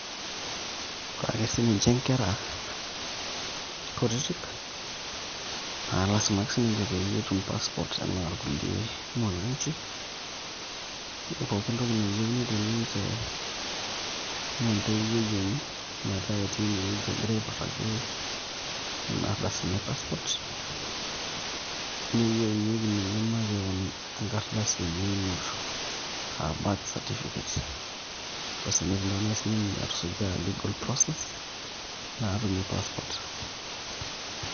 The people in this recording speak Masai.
Ore ake sininche nkera kutitik naa lasima ake siniche pee etum passport enaa irkulie mwananchi, pooki entoki nayieuni teninche naa entoiwuoi enye metaa etii inewueji egira aiputaki nena ardasini e passport. Neyieunyieki ninye makeon enkardasi enye einoto aa birth certificate, basi netum taa naai sininye atusuja legal process naatumie passport.